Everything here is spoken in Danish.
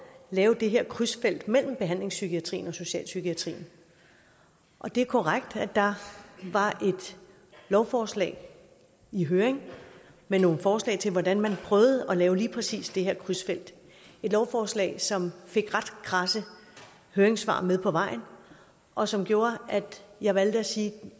lave det her krydsfelt mellem behandlingspsykiatrien og socialpsykiatrien og det er korrekt at der var et lovforslag i høring med nogle forslag til hvordan man prøvede at lave lige præcis det her krydsfelt et lovforslag som fik ret kradse høringssvar med på vejen og som gjorde at jeg valgte at sige at